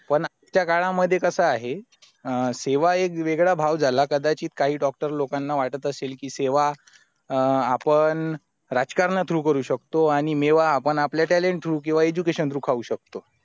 पण आज च्या काळा मध्ये कसा आहे सेवा एक वेगळा भाव झाला कदाचित काही doctor लोकांना वाटत असेल कि सेवा आपण राजकारणा through करू शकतो आणि मेवा आपण आपले talentthrough किवा education through खाऊ शकतो